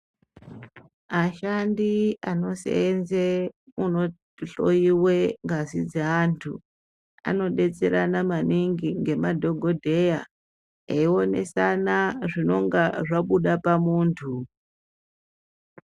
Ashandi anoseenze, kunohloiwe ngazi dzeanthu, anodetserana maningi ngemadhogodheya , eionesana zvinonga zvabuda pamunthu.